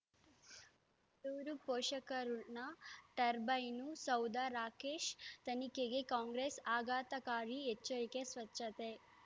ಳೂರು ಪೋಷಕರಋಣ ಟರ್ಬೈನು ಸೌಧ ರಾಕೇಶ್ ತನಿಖೆಗೆ ಕಾಂಗ್ರೆಸ್ ಆಘಾತಕಾರಿ ಎಚ್ಚರಿಕೆ ಸ್ವಚ್ಛತೆ